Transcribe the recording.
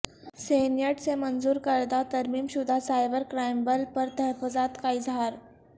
senate سے منظور کردہ ترمیم شدہ سائبر کرائم بل پر تحفظات کا اظہار